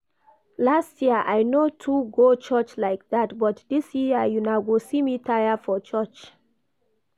Last year I no too go church like dat, but dis year una go see me tire for church